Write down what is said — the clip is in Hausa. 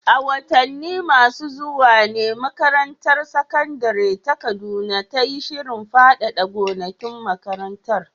A watanni masu zuwa ne makarantar sakandare ta Kaduna ta yi shirin faɗaɗa gonakin makarantar.